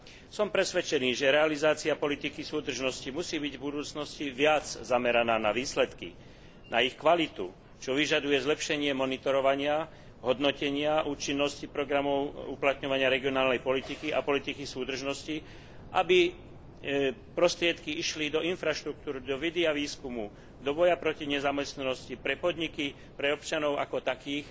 Som presvedčený, že realizácia politiky súdržnosti musí byť v budúcnosti viac zameraná na výsledky, na ich kvalitu, čo vyžaduje zlepšenie monitorovania, hodnotenia účinnosti programov uplatňovania regionálnej politiky a politiky súdržnosti, aby prostriedky išli do infraštruktúry, do vedy a výskumu, do boja proti nezamestnanosti, pre podniky, pre občanov ako takých,